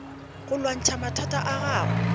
go lwantšha mathata a gago